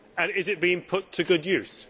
Is it being put to good use?